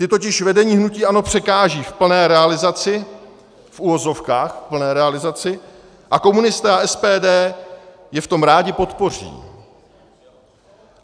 Ta totiž vedení hnutí ANO překážejí v plné realizaci, v uvozovkách v plné realizaci, a komunisté a SPD ji v tom rádi podpoří.